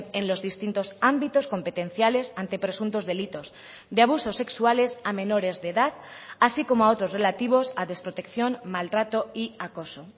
en los distintos ámbitos competenciales ante presuntos delitos de abusos sexuales a menores de edad así como a otros relativos a desprotección maltrato y acoso